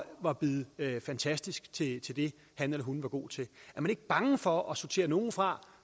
var blevet fantastisk til til det han eller hun var god til er man ikke bange for at sortere nogle fra